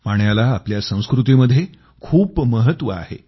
पाण्याला आपल्या संस्कृतीमध्ये खूप महत्व आहे